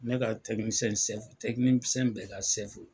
Ne ka bɛɛ ka .